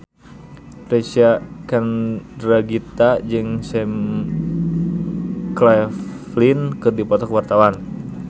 Reysa Chandragitta jeung Sam Claflin keur dipoto ku wartawan